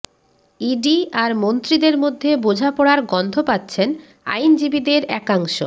ED আর মন্ত্রিদের মধ্যে বোঝাপড়ার গন্ধ পাচ্ছেন আইনজীবীদের একাংশ